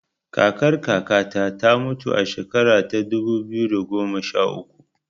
Kakar kaka ta ta mutu a shekara ta dubu biyu da goma sha uku